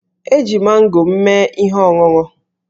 E ji mango m mee ihe ọṅụṅụ.